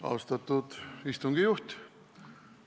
Austatud istungi juhataja!